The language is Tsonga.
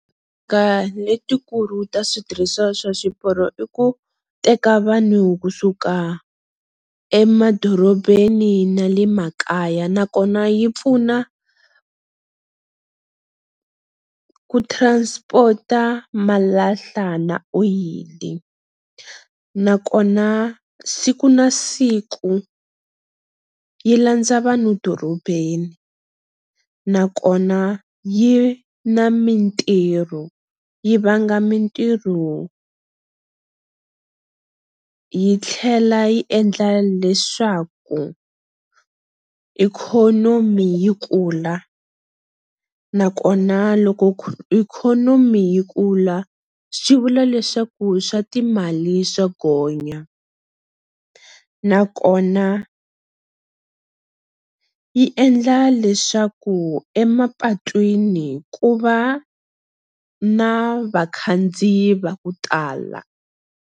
Ka letikulu ta switirhiswa swa swiporo i ku teka vanhu kusuka emadorobeni na le makaya nakona yi pfuna ku transport-a malahla na oyili, nakona siku na siku yi landza vanhu dorobeni nakona yi na mintirho yi vanga mintirho yi tlhela yi endla leswaku ikhonomi yi kula nakona loko ikhonomi yi kula swi vula leswaku swa timali swa gonya nakona yi endla leswaku emapatwini ku va na vakhandziyi va ku tala.